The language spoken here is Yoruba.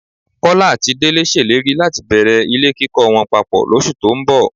Kọ́lá àti Délé ṣèlérí láti bẹ̀rẹ̀ ilé kíkọ wọn papọ̀ lóṣù tó ń bọ̀